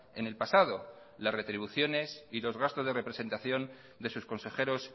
en el pasado las retribuciones y los gastos de representación de sus consejeros